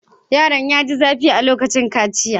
Yaron ya ji zafi a lokacin kaciya.